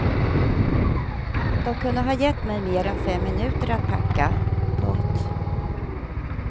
De kunde ha gett mig mer än fem minuter att packa. punkt